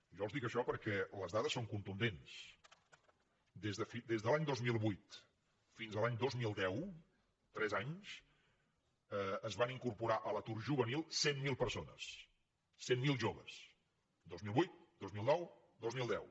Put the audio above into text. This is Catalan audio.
jo els dic això perquè les dades són contundents des de l’any dos mil vuit fins a l’any dos mil deu tres anys es van incorporar a l’atur juvenil cent miler persones cent miler joves dos mil vuit dos mil nou dos mil deu